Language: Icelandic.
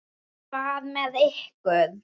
Hvað með ykkur?